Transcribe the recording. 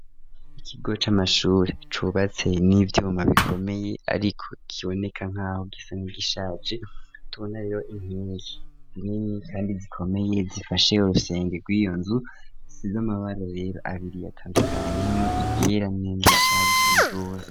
ikigo c'amashuri cubatse n'ivyuma bikomeye ariko kiboneka nkaho gisa n,igishaje, tubona rero inkengi nini kandi zikomeye zifashe urusenge rw'iyo nzu isize 'amabara yera abiri atandukanye harimwo iryera nirindi rishaka gusa n,iroze.